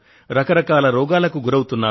రకరకాల రోగాలకు గురవుతున్నారు